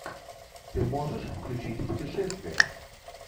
ты можешь включить путешествие